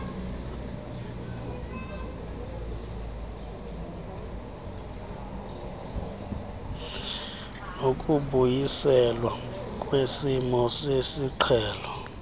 nokubuyiselwa kwesimo sesiqhelo